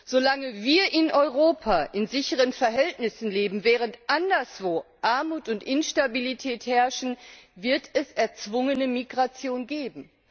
Solange wir in Europa in sicheren Verhältnissen leben, während anderswo Armut und Instabilität herrschen, wird es erzwungene Migration geben.